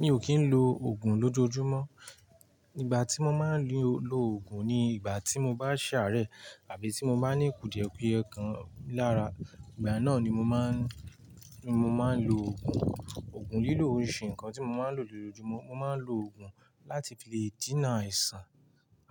Mi o kín lo ògùn lójoojúmọ́. Nígbà tí mo máa ń lo ògùn ni ìgbà tí mo bá ṣàárẹ̀ àbí tí mo bá ní kùdìẹ̀ pé ẹ̀kan lára, ìgbà náà ni mo máa ń, ni mo máa ń lo ògùn. Ògùn lílò oríṣi nǹkan tí mo máa ń lò lójoojúmọ́. Mo máa ń lo ògùn láti fi lè jìnnà àìsàn